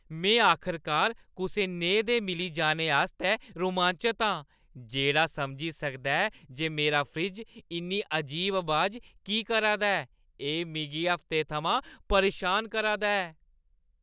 में आखरकार कुसै नेहे दे मिली जाने आस्तै रोमांचत आं जेह्‌ड़ा समझी सकदा ऐ जे मेरा फ्रिज्ज इन्नी अजीब अबाज की करा दा ऐ, एह् मिगी हफ्तें थमां परेशान करा दा ऐ!